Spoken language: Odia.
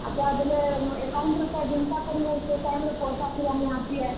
ଆଚ୍ଛା ବେଲେ account ରେ ତ ଜେନ୍ତା କିରି ହଉ ସେ time ରେ ପଏସା ଥିବାର୍ ନିହାତି ଏ?